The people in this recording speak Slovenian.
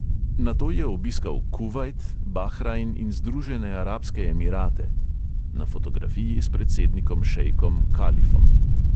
Nato je obiskal kuvajt, bahrajn in združene arabske emirate (na fotografiji s predsednikom šejkom kalifom).